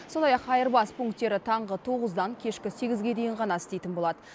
сондай ақ айырбас пунктері таңғы тоғыздан кешкі сегізге дейін ғана істейтін болады